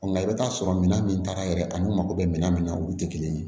Nka i bɛ t'a sɔrɔ minɛn min taara yɛrɛ a n'u mako bɛ minan min na olu tɛ kelen ye